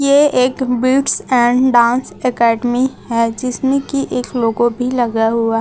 ये एक beats and dance academy है जिसमें की एक लोगों भी लगा हुआ--